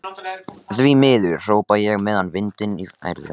Því miður, hrópa ég með vindinn í fangið.